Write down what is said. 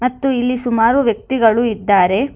ಮತ್ತು ಇಲ್ಲಿ ಸುಮಾರು ವ್ಯಕ್ತಿಗಳು ಇದ್ದಾರೆ.